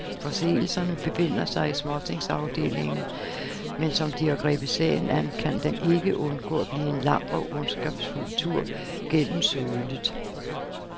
Forseelserne befinder sig i småtingsafdelingen, men som de har grebet sagen an, kan den ikke undgå at blive en lang og ondskabsfuld tur gennem sølet.